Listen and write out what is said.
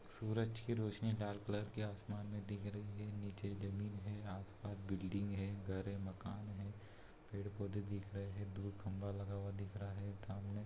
सूरज की रोशनी dark colour के आसमान में दिख रही है नीचे एक जमीन है आस-पास बिल्डिंग है घर है मकान हैं पेड़-पौधे दिख रहे हैं दूर खंभा लगा हुआ दिख रहा है सामने।